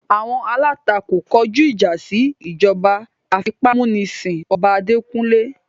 Awọn alatako kọju ija si ijọba afipamunisin ọba adekunle